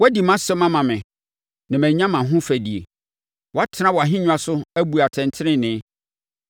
Woadi mʼasɛm ama me, na mɛnya mʼahofadie; woatena wʼahennwa so, abu atɛntenenee.